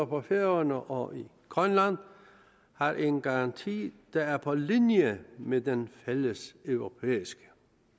på færøerne og i grønland har en garanti der er på linje med den fælleseuropæiske